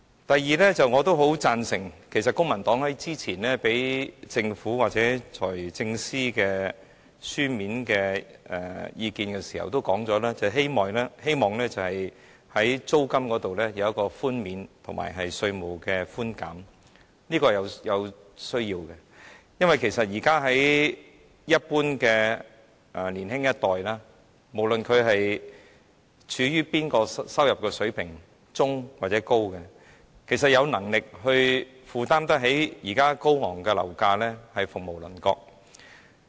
第二，公民黨較早前向政府或財政司司長提交書面意見時提出希望在租金方面有寬免措施和寬減稅負，我認為這是有需要的，並會予以支持，因為就一般的年青人來說，即使他們的收入水平屬中等或較高，有能力負擔現時高昂樓價的只是鳳毛麟角。